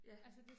Ja.